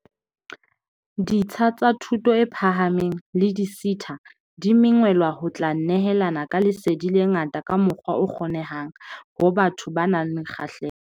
Ditsha tsa thuto e phahameng le di-SETA di mengwelwa ho tla nehelana ka lesedi le nga-ta ka mokgwa o kgonehang ho batho ba nang le kgahleho.